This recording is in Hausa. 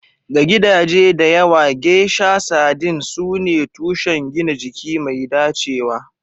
Ga gidaje da yawa, geisha sardines sune tushen gina jiki mai dacewa.